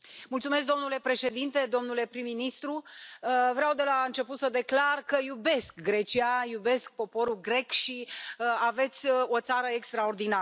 Domnule președinte, domnule prim ministru, vreau de la început să declar că iubesc Grecia, iubesc poporul grec și aveți o țară extraordinară.